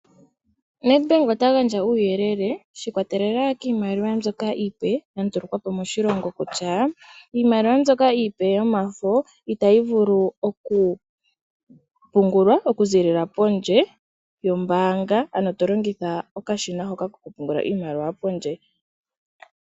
Nedbank ota gandja uuyelele sha ikwatelela kiimaliwa mbyoka iipe ya ndulukwapo moshilongo kutya, iimaliwa mbyoka iipe yomafo itayi vulu oku pungulwa okuziilila pondje yombaanga, ano tolongitha okashina hoka koku pungula pondje.